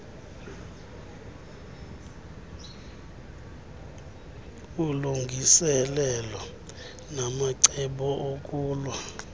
ulungiselelo namacebo okulwa